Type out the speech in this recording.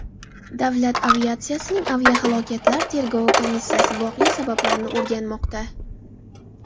Davlat aviatsiyasining aviahalokatlar tergovi komissiyasi voqea sabablarini o‘rganmoqda.